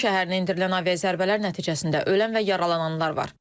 Qum şəhərinə endirilən aviazərbələr nəticəsində ölən və yaralananlar var.